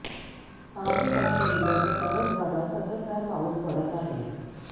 पहाटे पासुन जिल्हाच्या सर्वच भागात सततधार पाऊस पडत आहे